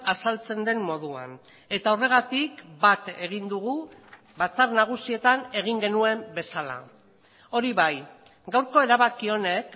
azaltzen den moduan eta horregatik bat egin dugu batzar nagusietan egin genuen bezala hori bai gaurko erabaki honek